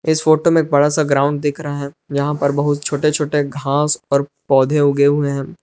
इस फोटो में एक बड़ा सा ग्राउंड दिख रहे हैं यहां पर बहुत छोटे छोटे घास और पौधे उगे हुए हैं।